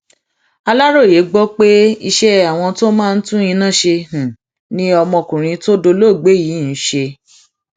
aláròye gbọ pé iṣẹ àwọn tó máa ń tún iná ṣe ni ọmọkùnrin tó dolóògbé yìí ń ṣe